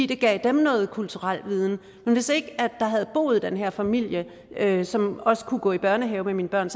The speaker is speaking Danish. det gav dem noget kulturel viden men hvis ikke der havde boet den her familie som også kunne gå i børnehave med mine børn